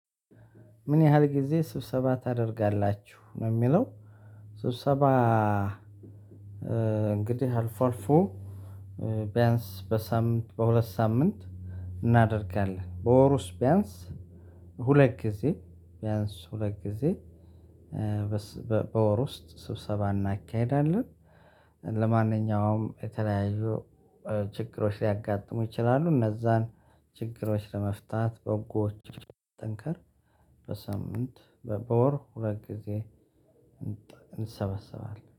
ምን ያህል ጊዜ ስብሰባ ታደርጋላችሁ? ነው የሚለው ስብሰባ አልፎ አልፎ ቢያንስ በሳምንት በሁለት ሳምንት እናደርጋለን። በወር ውስጥ ቢያንስ ሁለት ጊዜ ቢያንስ ሁለት ጊዜ በወር ውስጥ ስብሰባ እናካሂዳለን። ለማንኛውም የተለያዩ ችግሮች ሊያጋጥሙ ይችላሉ። እነዛን ችግሮች ለመፍታት በጎችን ለማጠንከር በሳምንት በወር ሁለት ጊዜ እንሰባሰባለን።